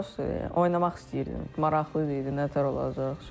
Prosta oynamaq istəyirdim, maraqlı idi nətər olacaq.